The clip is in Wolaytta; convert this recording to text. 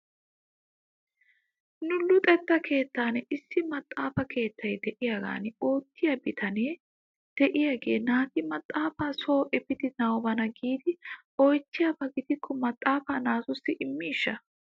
Nu luxetta keettan issi maxaafa keettay de'iyaagan oottiyaa bitane de'iyaagee naati maxaafaa soo efidi nabana giidi oychchiyaaba gidikko maxaafaa naatussi imiishsha?